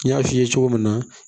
N y'a f'i ye cogo min na